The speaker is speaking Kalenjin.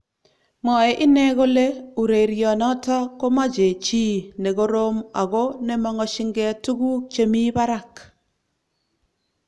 Mwaei inne kole urerionoto komeche chi ne korom ago nemang'shinge tuguk che mi barak